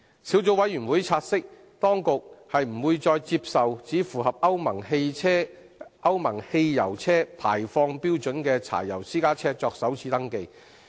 小組委員會察悉，當局不會再接受只符合歐盟汽油車排放標準的柴油私家車作首次登記。